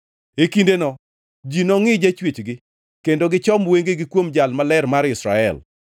E kindeno ji nongʼi Jachwechgi kendo gichom wengegi kuom Jal Maler mar Israel.